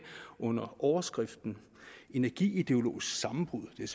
under overskriften energi ideologisk sammenbrud det er